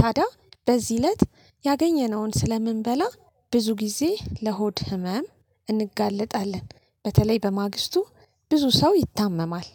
ታዲያ በዚህ እለት ያገኘነውን ስለምንበላ ብዙ ጊዜ ለሆድ ህመም እንጋለጣለን። በተለይ በማግስቱ ብዙ ሰው ይታመማል።